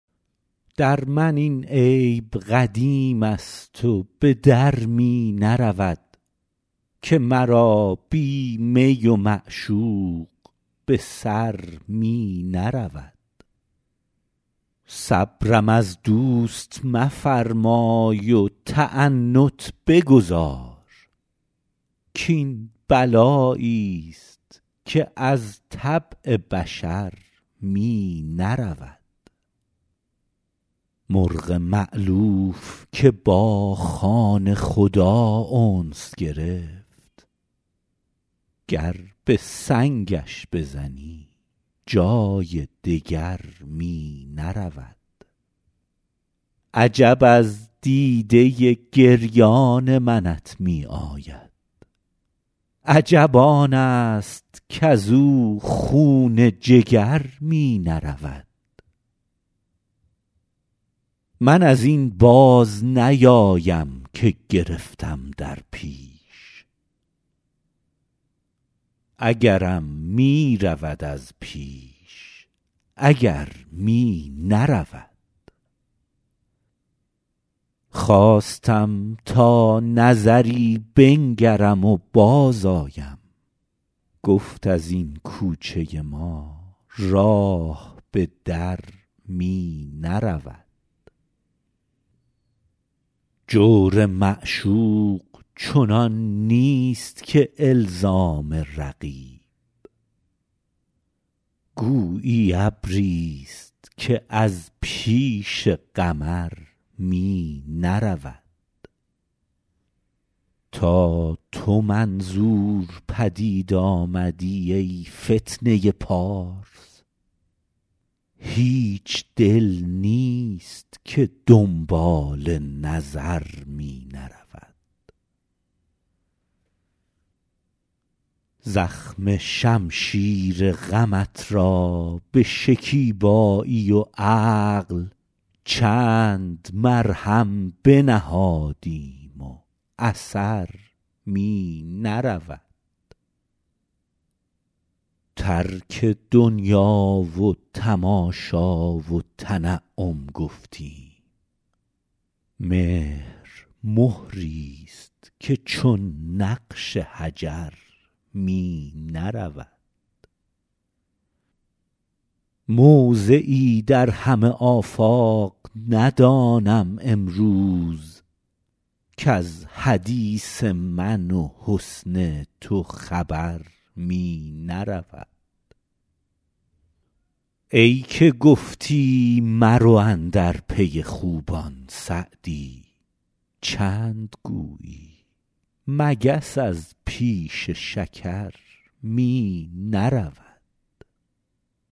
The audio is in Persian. در من این عیب قدیم است و به در می نرود که مرا بی می و معشوق به سر می نرود صبرم از دوست مفرمای و تعنت بگذار کاین بلایی ست که از طبع بشر می نرود مرغ مألوف که با خانه خدا انس گرفت گر به سنگش بزنی جای دگر می نرود عجب از دیده گریان منت می آید عجب آن است کز او خون جگر می نرود من از این باز نیایم که گرفتم در پیش اگرم می رود از پیش اگر می نرود خواستم تا نظری بنگرم و بازآیم گفت از این کوچه ما راه به در می نرود جور معشوق چنان نیست که الزام رقیب گویی ابری ست که از پیش قمر می نرود تا تو منظور پدید آمدی ای فتنه پارس هیچ دل نیست که دنبال نظر می نرود زخم شمشیر غمت را به شکیبایی و عقل چند مرهم بنهادیم و اثر می نرود ترک دنیا و تماشا و تنعم گفتیم مهر مهری ست که چون نقش حجر می نرود موضعی در همه آفاق ندانم امروز کز حدیث من و حسن تو خبر می نرود ای که گفتی مرو اندر پی خوبان سعدی چند گویی مگس از پیش شکر می نرود